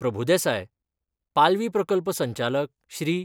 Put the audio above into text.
प्रभूदेसाय, पालवी प्रकल्प संचालक श्री.